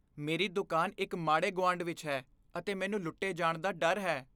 ਮੇਰੀ ਦੁਕਾਨ ਇੱਕ ਮਾੜੇ ਗੁਆਂਢ ਵਿੱਚ ਹੈ ਅਤੇ ਮੈਨੂੰ ਲੁੱਟੇ ਜਾਣ ਦਾ ਡਰ ਹੈ।